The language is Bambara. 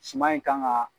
Suman in kan ka